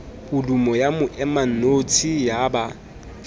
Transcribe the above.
podumo ya moemanotshi ya ba